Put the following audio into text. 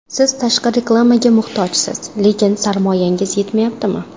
Siz tashqi reklamaga muhtojsiz, lekin sarmoyangiz yetmayaptimi?